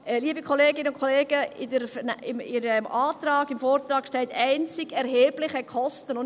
Liebe Kolleginnen und Kollegen, im Antrag, im Vortrag, steht: einzig «erhebliche Kosten».